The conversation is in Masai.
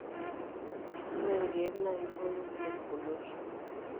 ore ilkeek na kiboyo kulie pukunot.